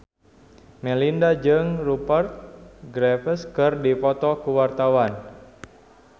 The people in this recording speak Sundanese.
Melinda jeung Rupert Graves keur dipoto ku wartawan